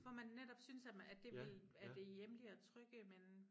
Hvor man netop synes at man det vil at det hjemlige og trygge men